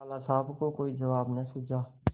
लाला साहब को कोई जवाब न सूझा